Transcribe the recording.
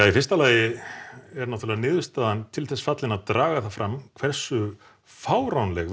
í fyrsta lagi er niðurstaðan til þess fallin að draga það fram hversu fáránleg